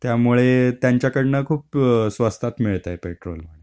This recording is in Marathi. त्यामुळे त्यांच्याकडनं खूप स्वस्तात मिळतंय पेट्रोल.